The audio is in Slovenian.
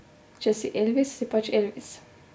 Če si Elvis, si pač Elvis.